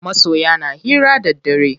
Masoya na hira da daddare.